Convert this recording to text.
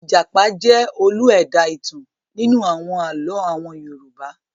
Ìjàpá jẹ́ olú ẹ̀dá-ìtàn nínú àwọn àlọ́ àwọn Yorùbá.